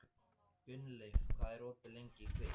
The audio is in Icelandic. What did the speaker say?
Gunnleif, hvað er opið lengi í Kvikk?